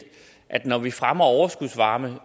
at når vi fremmer overskudsvarme